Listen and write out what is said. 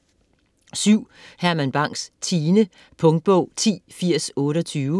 Bang, Herman: Tine Punktbog 108028